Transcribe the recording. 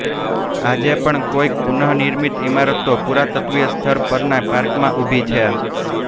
આજે પણ કોઈક પુનઃનિર્મિત ઇમારતો પુરાતત્વીય સ્થળ પરનાં પાર્કમાં ઉભી છે